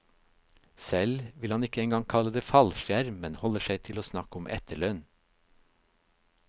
Selv vil han ikke en gang kalle det fallskjerm, men holder seg til å snakke om etterlønn.